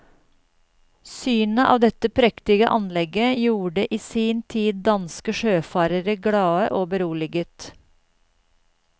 Synet av dette prektige anlegget gjorde i sin tid danske sjøfarere glade og beroliget.